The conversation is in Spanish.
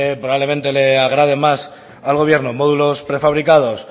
probablemente le agrade más al gobierno módulos prefabricados